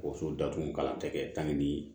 Woso datugu kalan tɛ kɛ ni